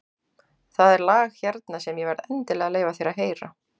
Það er lag hérna sem ég verð endilega að leyfa þér að heyra.